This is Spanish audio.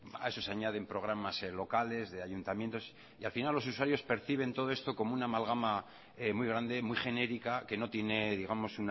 a eso se añaden programas locales de ayuntamientos y al final los usuarios perciben todo esto como una amalgama muy grande muy genérica que no tiene digamos